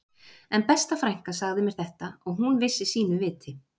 En besta frænka sagði mér þetta og hún vissi sínu viti